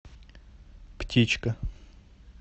птичка